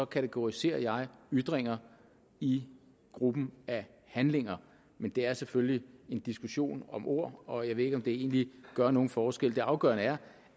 kategoriserer jeg ytringer i gruppen af handlinger men det er selvfølgelig en diskussion om ord og jeg ved ikke om det egentlig gør nogen forskel det afgørende er